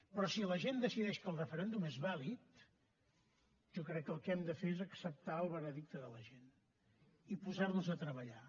però si la gent decideix que el referèndum és vàlid jo crec que el que hem de fer és acceptar el veredicte de la gent i posar nos a treballar